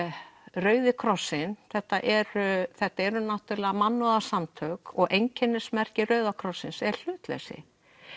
Rauði krossinn þetta eru þetta eru náttúrulega mannúðarsamtök og einkennismerki Rauða krossins er hlutleysi